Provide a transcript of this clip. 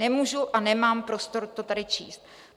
Nemůžu a nemám prostor to tady číst.